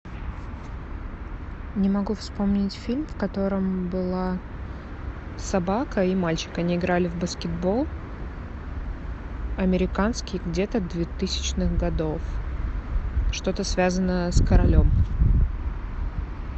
не могу вспомнить фильм в котором была собака и мальчик они играли в баскетбол американский где то двухтысячных годов что то связанное с королем